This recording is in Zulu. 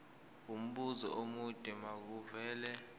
umbuzo omude makuvele